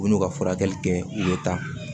U bɛ n'u ka furakɛli kɛ u bɛ taa